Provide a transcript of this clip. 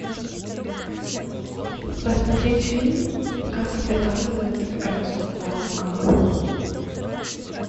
посмотреть фильм как изготавливают краску в марокко